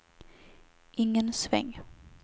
ingen sväng